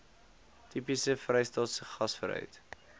tipies vrystaatse gasvryheid